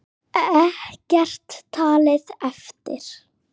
Ekkert talið eftir.